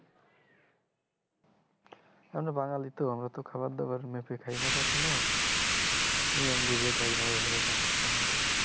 আমারা বাঙালি তো আমারা তো খাবার দাবার মেপে খায় না কখনো নিয়ম বুঝে খায় না, এই হলো সমস্যা আমাদের